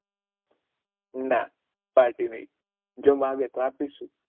ના પાર્ટી નહી જો માંગે તો આપી શું